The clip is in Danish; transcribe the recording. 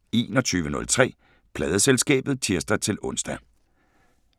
21:03: Pladeselskabet (tir-ons)